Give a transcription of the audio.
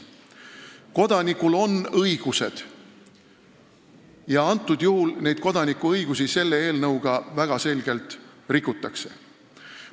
Kodanikul on õigused ja selle eelnõuga neid väga selgelt rikutakse.